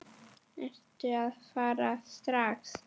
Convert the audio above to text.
Ertu að fara strax?